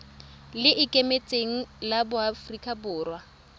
le ikemetseng la aforika borwa